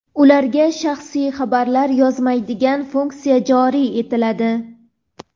ularga shaxsiy xabar yozolmaydigan funksiya joriy etiladi.